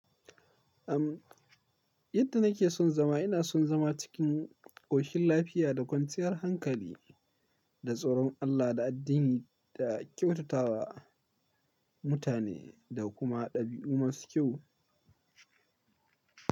Yadda nake son zama ina son zama cikin ƙoshin lafiya da kwanciyar hankali, da tsoron Allah da addini da kyautatawa mutane da kuma ɗabi'u masu kyau.